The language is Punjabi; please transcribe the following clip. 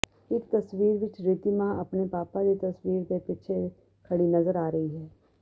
ਇੱਕ ਤਸਵੀਰ ਵਿੱਚ ਰਿਧੀਮਾ ਆਪਣੇ ਪਾਪਾ ਦੀ ਤਸਵੀਰ ਦੇ ਪਿੱਛੇ ਖੜੀ ਨਜ਼ਰ ਆ ਰਹੀ ਹੈ